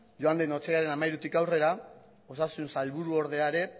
joan den otsailaren hamairutik aurrera osasun sailburuordea ere